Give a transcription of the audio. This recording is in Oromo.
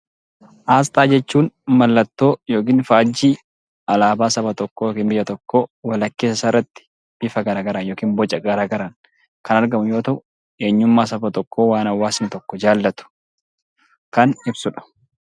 Aasxaa jechuun mallattoo yookin faajjii alaabaa saba tokkoo yookin biyya tokkoo walakkeessa isaarratti bifa garaagaraan yokin boca garaa garaan kan argamu yoo ta'u eenyummaa saba tokkoo kan hawaasni tokko jaalatu kan ibsudha.